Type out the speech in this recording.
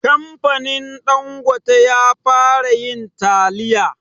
Kamfanin ɗangote ya fara yin taliya